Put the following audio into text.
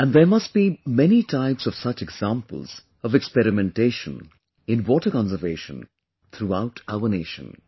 And there must be many types of such examples of experimentation in water conservation throughout our nation